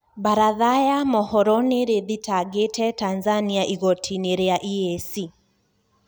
Baratha ya mũhoro nirithitangite Tanzania igoti-ini ria EAC